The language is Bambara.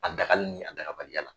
A dagali ni a dagabaliya la.